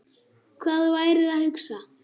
Hvað þú værir að hugsa.